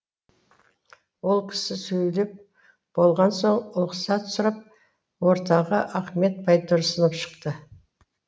ол кісі сөйлеп болған соң ұлықсат сұрап ортаға ахмет байтұрсынов шықты